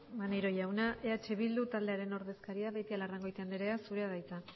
maneiro jauna eh bildu taldearen ordezkaria beitialarrangoitia andrea zurea da hitza